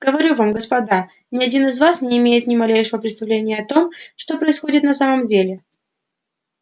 говорю вам господа ни один из вас не имеет ни малейшего представления о том что происходит на самом деле